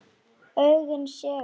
Augun segull.